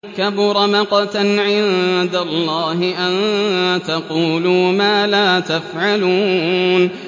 كَبُرَ مَقْتًا عِندَ اللَّهِ أَن تَقُولُوا مَا لَا تَفْعَلُونَ